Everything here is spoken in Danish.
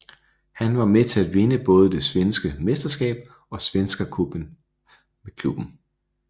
Han var med til at vinde både det svenske mesterskab og Svenska Cupen med klubben